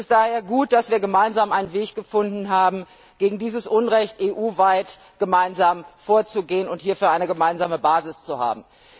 Es ist daher gut, dass wir gemeinsam einen Weg gefunden haben, gegen dieses Unrecht EU weit vorzugehen und hierfür eine gemeinsame Basis zu haben.